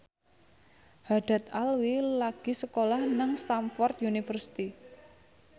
Haddad Alwi lagi sekolah nang Stamford University